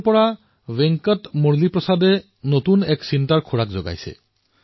বন্ধুসকল মোলৈ বিশাখাপট্টনমৰ পৰা মুৰলীপ্ৰসাদ জীয়ে লিখিছে তাত এক ভিন্ন ধৰণৰ চিন্তাধাৰা প্ৰকাশ পাইছে